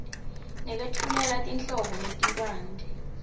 nekwetfulela tinhlobo letibanti